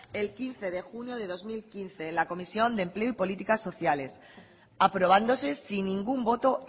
el quince de junio de dos mil quince en la comisión de empleo y políticas sociales aprobándose sin ningún voto